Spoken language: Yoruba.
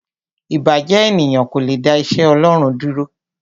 Ìbàjẹ́ ènìyàn kò le dá iṣẹ́ Ọlọ́run dúró.